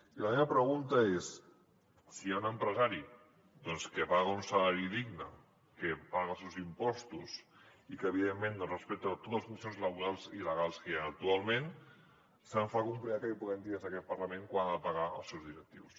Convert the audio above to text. i la meva pregunta és si hi ha un empresari que paga un salari digne que paga els seus impostos i que evidentment doncs respecta totes les condicions laborals i legals que hi han actualment se’m fa complicat que li puguem dir des d’aquest parlament quant ha de pagar als seus directius